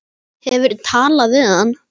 Hefurðu talað við hann?